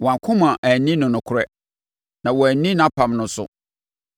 wɔn akoma anni no nokorɛ, na wɔanni nʼapam no so.